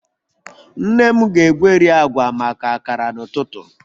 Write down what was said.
Nne m ga-egweri agwa maka akara n'ụtụtụ